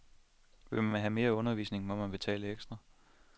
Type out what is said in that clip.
Vil man have mere undervisning, må man betale ekstra.